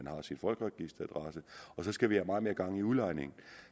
har sin folkeregisteradresse og så skal vi have meget mere gang i udlejningen